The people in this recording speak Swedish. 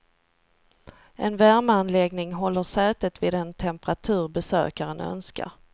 En värmeanläggning håller sätet vid den temperatur besökaren önskar.